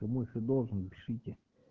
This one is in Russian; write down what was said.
мыши должен пишите